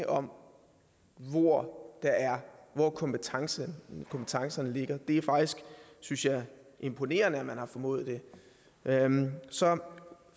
om hvor hvor kompetencerne kompetencerne ligger det er faktisk synes jeg imponerende at man har formået det så